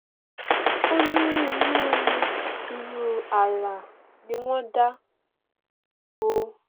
oní irú irú àrà ní wọn dá o